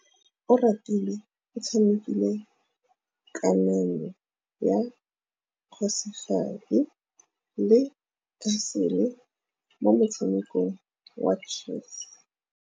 Oratile o tshamekile kananyô ya kgosigadi le khasêlê mo motshamekong wa chess.